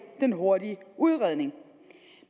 den hurtige udredning